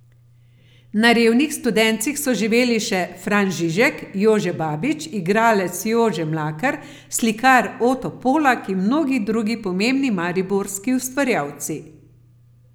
Na revnih Studencih so živeli še Fran Žižek, Jože Babič, igralec Jože Mlakar, slikar Oto Polak in mnogi drugi pomembni mariborski ustvarjalci.